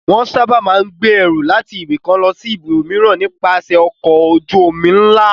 Wọ́n sábà máa ń gbé ẹrù láti ibìkan lọ sí ibòmíràn nípasẹ̀ ọkọ̀ ojú-omi ńlá.